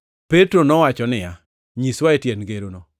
Petro nowacho niya, “Nyiswae tiend ngerono.”